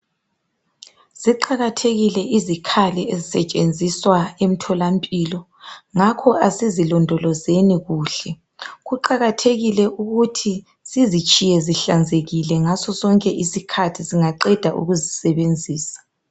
Ziqakathekile izikhali ezisetshenziswa emtholampilo ngakho asizilondolozeni kuhle kuqakathekile ukuthi sizitshiye zihlanzekile ngasosonke isikhathi singaqeda ukuzisebenzisa